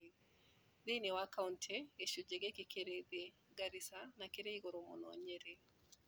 Thĩinĩ wa kauntĩ, gĩcunjĩ gĩkĩ kĩrĩ thĩ Garissa na kĩrĩ igũrũ mũno Nyeri